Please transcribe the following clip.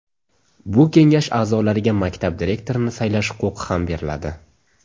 Bu kengash aʼzolariga maktab direktorini saylash huquqi ham beriladi.